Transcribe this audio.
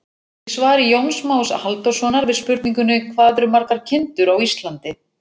Í svari Jóns Más Halldórssonar við spurningunni Hvað eru margar kindur á Íslandi?